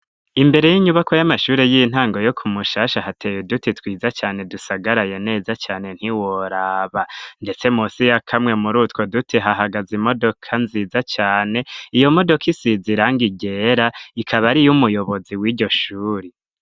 Imbere y'inyubakwa y'amashuri y'intango yo ku mushasha hateye uduti twiza cane dusagaraye neza cane ntiworaba, ndetse musi ya kamwe muri utwo duti hahagaze imodoka nziza cane, iyo modoka isize irangi ryera, ikaba ari uy'umuyobozi w'iryo shuri.